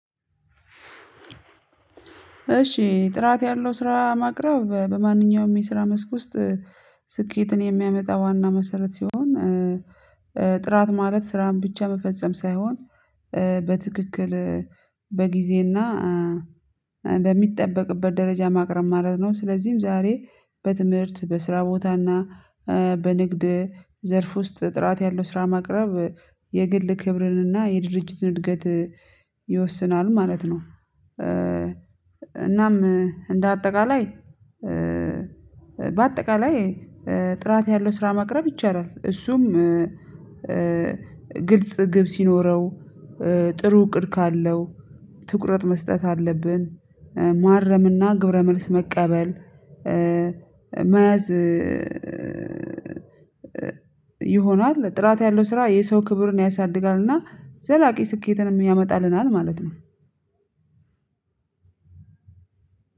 እሺ ጥራት ያለው ስራ ማቅረብ በማንኛውም የስራ መስክ ውስጥ ስኬትን የሚያመጣ ዋና መሰረት ሲሆን ጥራት ማለት ስራን ብቻ መፈጸም ሳይሆን በትክክል በጊዜና በሚጠበቅበት ደረጃ ማቅረብ ማለት ነው። ስለዚህም ዛሬ በትምህርት በስራ ቦታና በንግድ ዘርፍ ውስጥ ጥራት ያለው ስራ ማቅረብ የግል ክብርንና የድርጅትን እድገት ይወስናል ማለት ነው። እናም እንደ አጠቃላይ በአጠቃላይ ጥራት ያለው ስራ ማቅረብ ይቻላል እሱም ግልጽ ግብ ሲኖረው ጥሩ እቅድ ካለው ትኩረት መስጠት አለብን ማረምና ግብረ መልስ መቀበል መያዝ ይሆናል። ጥራት ያለው ስራ የሰው ክብርን ያሳድጋልና ዘላቂ ስኬትንም ያመጣልናል ማለት ነው።